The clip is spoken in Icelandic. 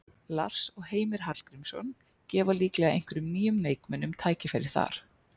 Lars og Heimir Hallgrímsson gefa líklega einhverjum nýjum leikmönnum tækifæri þar.